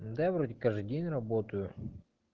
да вроде каждый день работаю